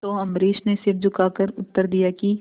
तो अम्बरीश ने सिर झुकाकर उत्तर दिया कि